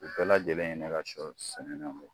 U bɛɛ lajɛlen ye ne ka sɔ sɛnɛnenw ye